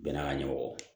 Bɛɛ n'a ka ɲɛmɔgɔ